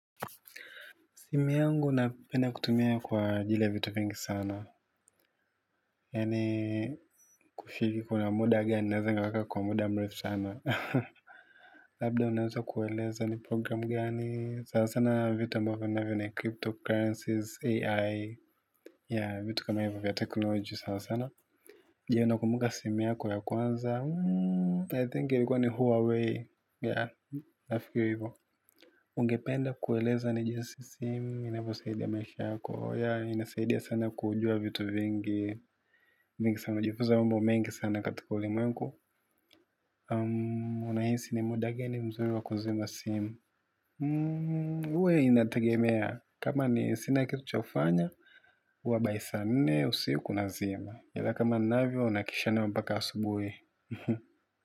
Simu yangu naipenda kutumia kwa vile vitu vingi sana. Yaani kufiki kuna muda gani, naweza nikaweka kwa muda mrefu sana. Labda naweza kueleza ni programu gani sasa sana vitu ambavyo ni cryptocurrencies, AI. Ya, vitu kama hivyo vya teknolojia sana sana. Jee, unakumbuka simu yako ya kwanza. I think ilikuwa ni Huawei. Ya, nafikiri hivyo. Ungependa kueleza ni jinsi sehemu inavyosidia maisha yako. Ya, inasaidia sana kujua vitu vingi. Vingi sana kujifuza mambo mengi sana katika ulimwengu. Um, unahisi ni muda gani mzuri wa kuzima simu, huwa inategemea kama ni sina kitu cha kufanya huwa by saa nne, usiku nazima. Yala kama navio, nakisha mbaka asubuhi.